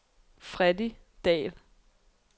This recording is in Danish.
Freddy Dahl